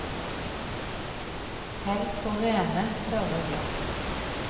Hell på rene, tørre glass.